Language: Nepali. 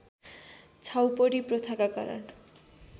छाउपडी प्रथाका कारण